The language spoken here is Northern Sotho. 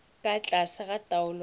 ka tlase ga taolo ya